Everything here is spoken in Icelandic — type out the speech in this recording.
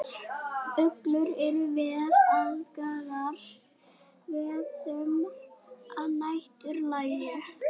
Uglur eru vel aðlagaðar veiðum að næturlagi.